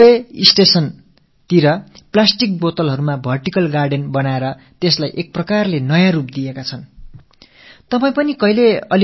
ரயில்நிலையத்தில் plastic பாட்டில்களால் ஏற்படுத்தப்பட்ட ஒரு அடுக்குத் தோட்டத்தை அவர்கள் உருவாக்கி நிலையத்துக்கு ஒரு புதிய தோற்றத்தை ஏற்படுத்தி இருந்தார்கள்